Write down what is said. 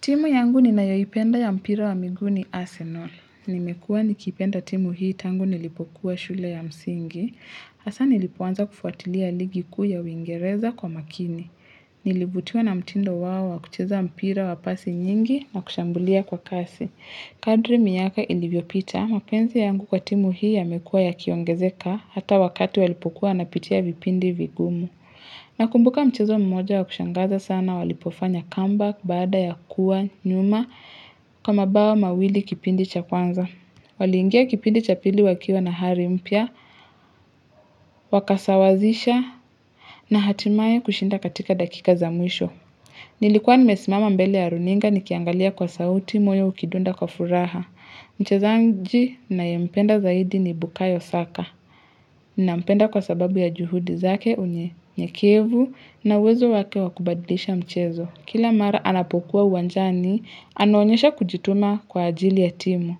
Timu yangu ninayoipenda ya mpira wa miguu ni Arsenal. Nimekua nikipenda timu hii tangu nilipokuwa shule ya msingi. Asa nilipoanza kufuatilia ligi kuu ya uwiingereza kwa makini. Nilivutiwa na mtindo wao wa kucheza mpira wa pasi nyingi na kushambulia kwa kasi. Kadri miyaka ilivyopita mapenzi yangu kwa timu hii yamekua yakiongezeka hata wakati walipokuwa wanapitia vipindi vigumu. Nakumbuka mchezo mmoja wa kushangaza sana walipofanya comeback baada ya kuwa nyuma kwa mabao mawili kipindi cha kwanza. Waliingia kipindi cha pili wakiwa na hari mpya, wakasawazisha na hatimaye kushinda katika dakika za mwisho. Nilikuwa nimesimama mbele ya runinga nikiangalia kwa sauti moyo ukidunda kwa furaha. Mchezaanji nayempenda zaidi ni bukayo saka. Nampenda kwa sababu ya juhudi zake unyenyekevu na uwezo wake wa kubadlisha mchezo. Kila mara anapokuwa uwanjani, anaonyesha kujituma kwa ajili ya timu.